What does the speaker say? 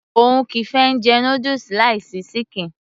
òun kìí fẹ́ jẹ noodles láì sí ṣíkìn